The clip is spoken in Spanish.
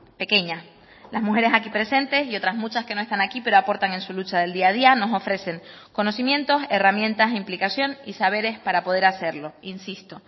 pequeña las mujeres aquí presentes y otras muchas que no están aquí pero aportan en su lucha del día a día nos ofrecen conocimientos herramientas implicación y saberes para poder hacerlo insisto